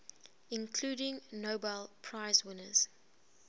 including nobel prize winners